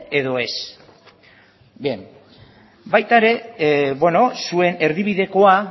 edo ez baita ere beno zuen erdibidekoa